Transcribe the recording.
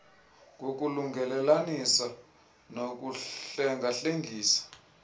ngokulungelelanisa nokuhlenga hlengisa